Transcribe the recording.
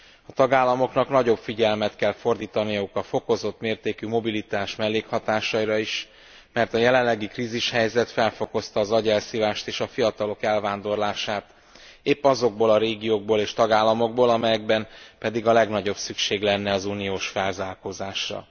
A tagállamoknak nagyobb figyelmet kell fordítaniuk a fokozott mértékű mobilitás mellékhatásaira is, mert a jelenlegi krízishelyzet felfokozta az agyelszívást és a fiatalok elvándorlását épp azokból a régiókból és tagállamokból, amelyekben pedig a legnagyobb szükség lenne az uniós felzárkózásra.